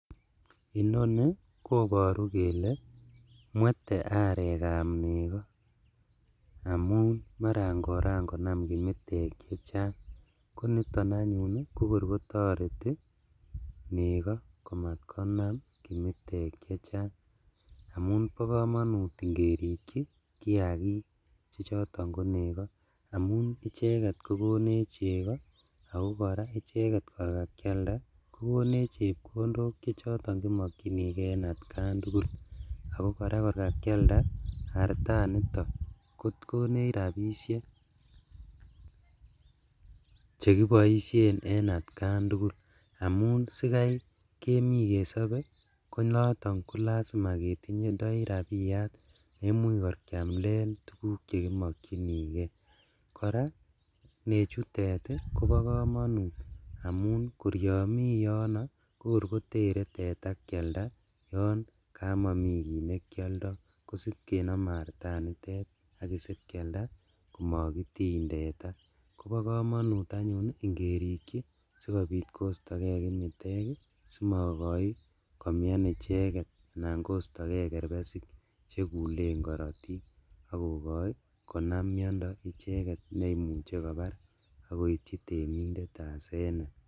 Inoni koboru kele mwete arekab neko amun maran koran konam kimitek chechang, koniton anyun kokor kotoreti neko komatkonam kimitek chechang, amunee bokomonut ingerikchi kiakik chechoton koneko amun icheket kogonech cheko , ako koraa icheket kor kakialda kogonech chepkondok chechoton kimokchinigee en atkan tugul, ako koraa kor kakialda artanito kogonech rabishek, chekiboishen en atkan tugul amun sikai kemi kesobe konoton ko lazima ketindoi rabiyat neimuch kor kialen tuguk chekimokchingee, koraa nechutet kobo komonut amun kor yon miyono kokor kotere teta kialda yon kamomi kit nekioldo kosib kenome artanitet akisib kialda komokotiny teta, kobo komonut anyun ingerikchi sikobit kosto kee kimitek ii simokoi komian icheket anan kostok chekulen korotik ak kokoi konam miondo icheket neimuche .